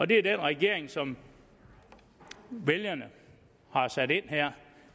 det er den regering som vælgerne har sat ind